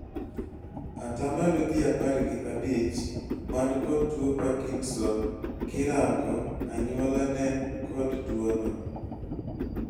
Atamlo ji apar gi abich man kod tuo parkinson kirango anyuola nen kod tuo no